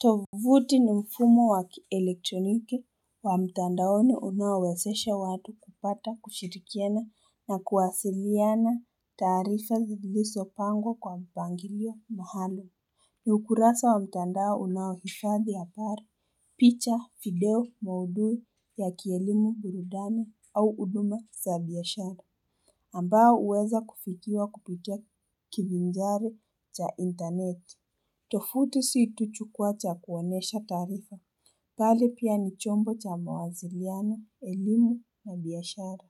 Tovuti ni mfumo wakielektroniki wa mtandaone unawesesha watu kupata kushirikiana na kuwasiliyana tarifa ziliso pango kwa mpangilio mahalo. Ni ukurasa wa mtandaone unawifadhi apari, picha, video, mauduwe ya kielimu burudani au uduma sabiashara. Ambawa uweza kufitia kupitia kibinjari cha internet. Tofutu siituchu kwa cha kuwanesha tarifa. Kale pia ni chombo cha mawaziliano, elimu na biyashara.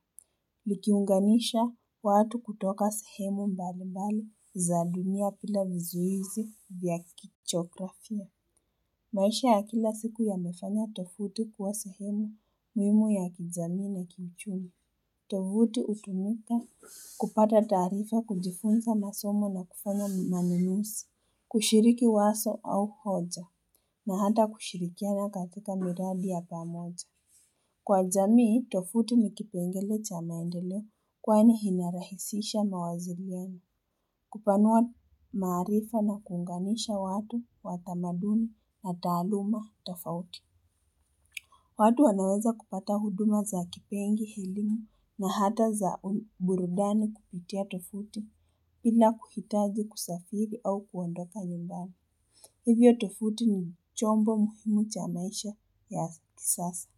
Likiunganisha watu kutoka sehemu mbali mbali za dunia pila vizuizi vya kichokrafia. Maisha ya kila siku ya mefanya tofutu kuwa sehemu mwimu ya kizami na kinchumi. Tofutu utumika kupata tarifa kujifunza masomo na kufanya maninusi. Kushiriki waso au hoja na hata kushirikia na katika miradi ya pamoja. Kwa jamii, tofuti ni kipengele chamaendele kwane hinarahisisha mawaziriani. Kupanua maarifa na kungamisha watu watamaduni na taluma tafauti. Watu wanaweza kupata huduma za kipengi hilimu na hata za burudani kupitia tofuti pina kuhitazi kusafiri au kuwandoka yumbami. Hivyo tofuti ni chombo muhimu cha maisha ya kisasa.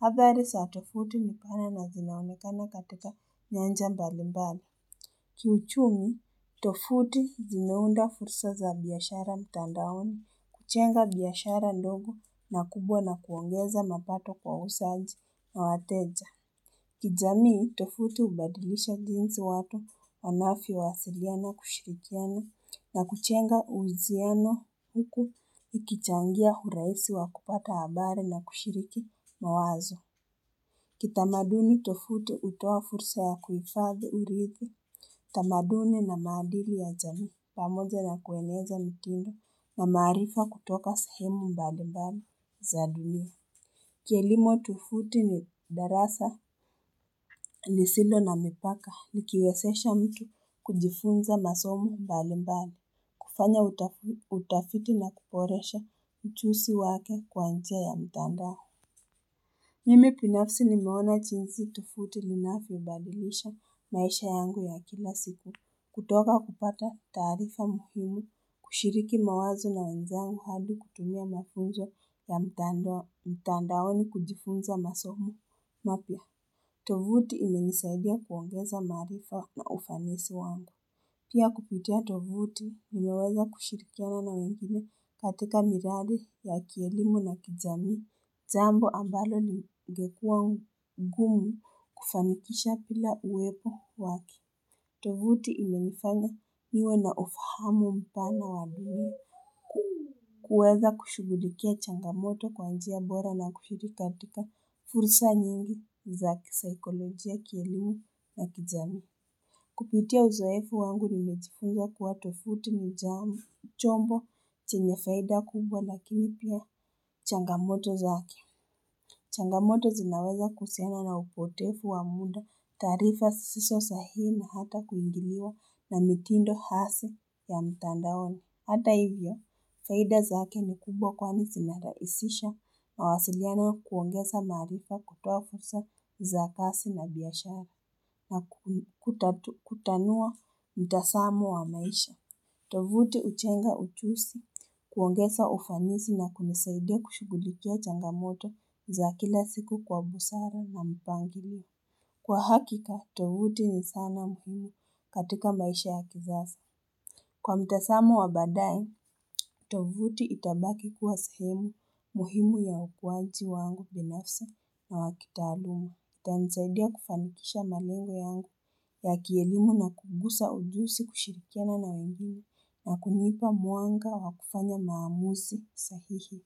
Havari sa tofuti mukana na zinaonekana katika nyanja mbali mbali. Kiuchumi, tofuti zinaunda fursa za biashara mtandaoni, kuchenga biyashara ndogo na kubwa na kuongeza mapato kwa usaji na wateja. Kijamii tofuti ubadilisha ginsi watu wanafi wasilia na kushirikiana na kuchenga ujiano huku ikichangia huraisi wa kupata habare na kushiriki mawazo. Kitamaduni tofuti utoa fursa ya kufadhi uriki, tamaduni na madili ya jamii, pamoja na kueneza mitindo na marifa kutoka sahimu mbado mbado za dunia. Kielimo tufuti ni darasa lisilo na mipaka, ni kiwesesha mtu kujifunza masomu mbali mbali, kufanya utafiti na kuporesha mchusi wake kwa nchia ya mtandaho. Mimi pinafsi ni mewana chinzi tofutu linafubadilisha maisha yangu ya kila siku, kutoka kupata tarifa muhimu, kushiriki mawazo na nzangu habi kutumia mafunja ya mtandaoni kujifunza masomu, napia tofutu ime nisaidia kuongeza marifa na ufamesi wangu. Pia kupitia tovuti mwenyeweza kushirikiana na wehile katika miradu ya kielimu na kijami zambo ambalo ligekua ungumu kufamikisha pila uwepo waki. Tovuti imenifanga niwe na ufahamu mpana wa bimu. Kuweza kushugulikia changamoto kwa anjia bora na kushirikartika fursa nyingi za kpsykolojia kielimu na kijami. Kupitia uzoefu wangu nimejifunga kuwa tofuti ni jamu, chombo, chenye faida kubwa, lakini pia changamoto zake. Changamoto zinaweza kusena na upotefu wa muda tarifa siso sahi na hata kuingiliwa na mitindo hasi ya mtandaona. Hata hivya, saida zaake ni kubwa kwani sinaraisisha na wasiliana kuwongesa marifa kutokusa za kasi na biyashara na kutanua mtasamu wa maisha. Tovuti uchenga uchusi, kuwongesa ufanisi na kumisaide kushigulikia changamoto za kila siku kwa busara na mpangiliwa. Kwa hakika, tovuti ni sana mhumu katika maisha ya kizasa. Kwa mtasamu wa badai, tovuti itabaki kuwa sehemu muhimu ya ukuwanti wangu binafsa na wakitaluma. Ita nsaidia kufanikisha mamenga yangu ya kielimu na kugusa ujusi kushirikiana na mbili na kunipa muanga wa kufanya maamuzi sahihi.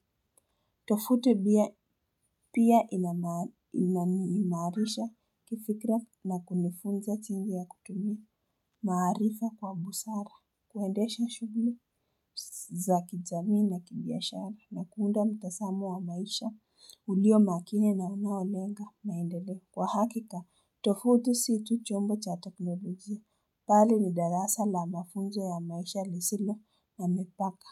Tofute bia pia inanimarisha kifikra na kunifunza tingi ya kutumia. Maharifa kwa busara kuendesha shugle za kijamii na kibiyashara na kuunda mtasamu wa maisha ulio makine na unawalenga maindele kwa hakika tofudu situ chombo cha teknolojie pali ni darasa la mafunzo ya maisha lisile na mepaka.